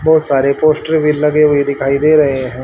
बहुत सारे पोस्टर भी लगे हुए दिखाई दे रहे--